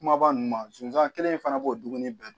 Kumaba ninnu ma zonsan kelen in fana b'o dumuni bɛɛ dun